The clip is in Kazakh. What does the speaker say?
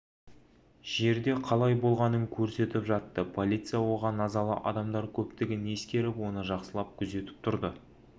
жерде қалай болғанын көрсетіп жатты полиция оған назалы адамдар көптігін ескеріп оны жақсылап күзетіп тұрды